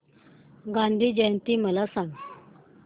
गांधी जयंती मला सांग